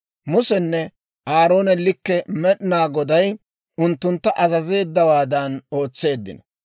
Musenne Aaroone likke Med'inaa Goday unttuntta azazeeddawaadan ootseeddino.